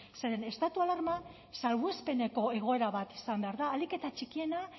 zeren estatu alarma salbuespeneko egoera bat izan behar da ahalik eta txikiena